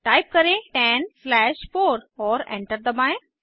type करें 10 slash 4 और enter दबाएं